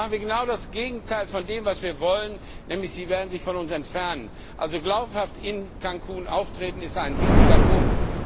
Sonst machen sie genau das Gegenteil von dem, was wir wollen, nämlich sie werden sich von uns entfernen. Also glaubhaft in Cancún auftreten, ist ein wichtiger Punkt.